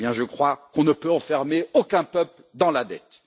Je crois qu'on ne peut enfermer aucun peuple dans la dette.